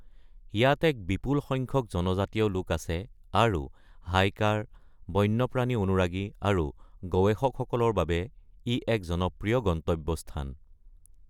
ইয়াত এক বিপুল সংখ্যক জনজাতীয় লোক আছে, আৰু হাইকাৰ, বন্যপ্ৰাণী অনুৰাগী আৰু গৱেষকসকলৰ বাবে ই এক জনপ্ৰিয় গন্তব্যস্থান।